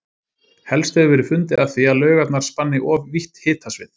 Helst hefur verið fundið að því að laugarnar spanni of vítt hitasvið.